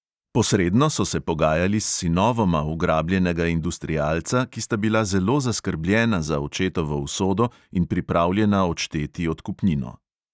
Posredno so se pogajali s sinovoma ugrabljenega industrialca, ki sta bila zelo zaskrbljena za očetovo usodo in pripravljena odšteti odkupnino.